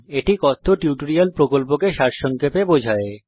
এটি কথ্য টিউটোরিয়াল প্রকল্পকে সারসংক্ষেপে বোঝায়